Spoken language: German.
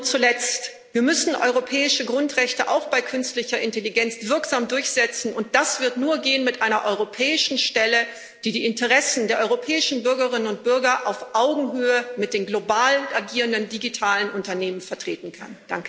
Zuletzt müssen wir europäische Grundrechte auch bei künstlicher Intelligenz wirksam durchsetzen, und das wird nur mit einer europäischen Stelle gehen, die die Interessen der europäischen Bürgerinnen und Bürger auf Augenhöhe mit den global agierenden digitalen Unternehmen vertreten kann.